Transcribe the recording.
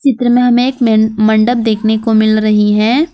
चित्र में हमे एक मे मैन मंडप देखने को मिल रही है।